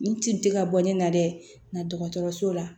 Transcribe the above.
Nin ci tɛ ka bɔ ne na dɛ nka dɔgɔtɔrɔso la